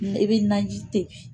I bɛ naji tɛbi